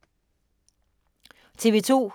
TV 2